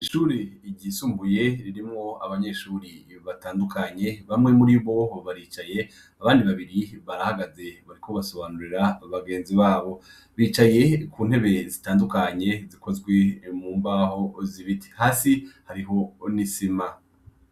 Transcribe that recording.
Ishure ryisumbuye ririmwo abanyeshure batandukanye, bamwe muri bo baricaye, abandi babiri barahagaze bariko basobanurira bagenzi babo. Bicaye ku ntebe zitandukanye zikozwe mu mbaho z'ibiti, hasi hariho n'isima.